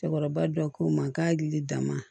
Cɛkɔrɔba dɔ k'o ma k'a hakili dan ma